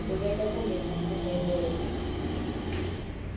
ku veka kumbe ku pfumelela